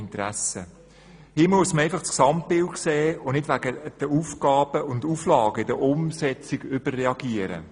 Hier muss man einfach das Gesamtbild sehen und wegen den Aufgaben und Auflagen in der Umsetzung nicht überreagieren.